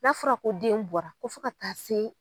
N'a fɔra ko den bɔra ko fo ka taa se